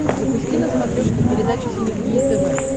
запусти на смотрешке передачу синергия тв